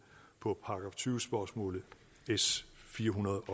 på § tyve spørgsmålet s firehundrede